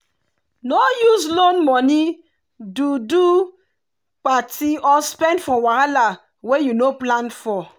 no use loan money do do party or spend for wahala wey you no plan for.